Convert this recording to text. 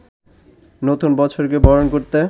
নতুন বছরকে বরণ করতে